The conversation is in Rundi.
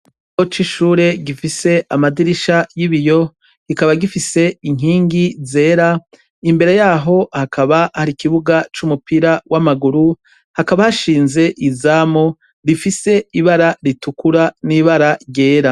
Ikigo c'ishure gifise amadirisha y'ibiyo kikaba gifise inkingi zera, imbere yaho hakaba hari ikibuga c'umupira w'amaguru, hakaba hashinze izamu rifise ibara ritukura n'ibara ryera.